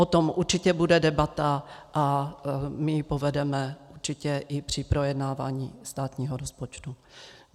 O tom určitě bude debata a my ji povedeme určitě i při projednávání státního rozpočtu.